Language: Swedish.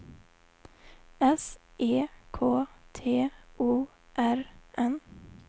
S E K T O R N